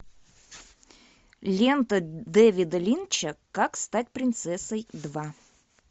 лента дэвида линча как стать принцессой два